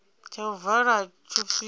tsha u vala tsho swika